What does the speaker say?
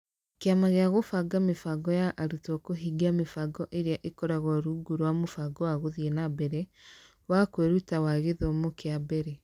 Kĩama gĩa Kũbanga Mĩbango ya Arutwo kũhingia mĩbango ĩrĩa ĩkoragwo rungu rwa mũbango wa Gũthiĩ na Mbere wa Kwĩruta wa Gĩthomo kĩa Mbere.